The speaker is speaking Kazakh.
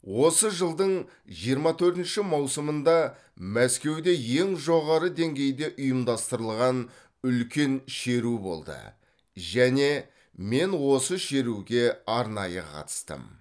осы жылдың жиырма төртінші маусымында мәскеуде ең жоғары деңгейде ұйымдастырылған үлкен шеру болды және мен осы шеруге арнайы қатыстым